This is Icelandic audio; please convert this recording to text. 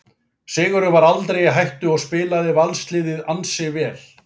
Sigurinn var aldrei í hættu og spilaði Valsliðið ansi vel.